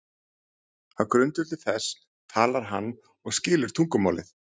Á grundvelli þess talar hann og skilur tungumálið.